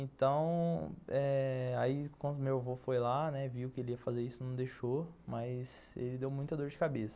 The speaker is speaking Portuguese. Então eh, aí quando meu avô foi lá, né, viu que ele ia fazer isso, não deixou, mas ele deu muita dor de cabeça.